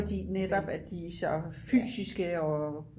fordi de netop er så fysiske og